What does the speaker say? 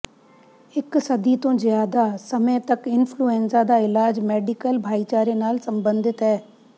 ਇਕ ਸਦੀ ਤੋਂ ਜ਼ਿਆਦਾ ਸਮੇਂ ਤੱਕ ਇਨਫਲੂਐਨਜ਼ਾ ਦਾ ਇਲਾਜ ਮੈਡੀਕਲ ਭਾਈਚਾਰੇ ਨਾਲ ਸੰਬੰਧਤ ਹੈ